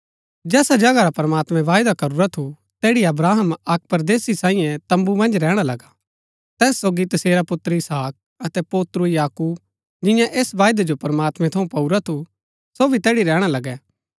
जैसा जगहा रा प्रमात्मैं वायदा करूरा थू तैड़ी अब्राहम अक्क परदेसी सांईये तम्बू मन्ज रैहणा लगा तैस सोगी तसेरा पुत्र इसहाक अतै पोत्रु याकूब जिन्यै ऐस वायदै जो प्रमात्मैं थऊँ पाऊरा थू सो भी तैड़ी रैहणा लगै